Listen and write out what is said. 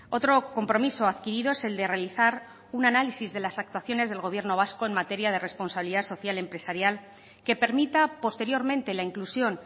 otro compromiso adquirido es el de realizar un análisis de las actuaciones del gobierno vasco en materia de responsabilidad social empresarial que permita posteriormente la inclusión